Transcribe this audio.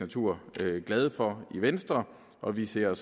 natur glade for i venstre og vi ser